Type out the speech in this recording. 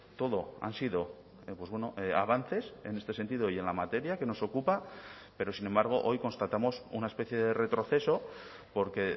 todo han sido avances en este sentido y en la materia que nos ocupa pero sin embargo hoy constatamos una especie de retroceso porque